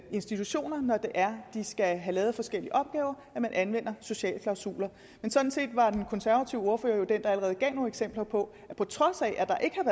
institutioner når det er de skal have lavet forskellige opgaver at man anvender sociale klausuler men sådan set var den konservative ordfører jo den der allerede gav nogle eksempler på at på trods af at der ikke